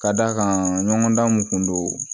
Ka d'a kan ɲɔgɔndan mun kun don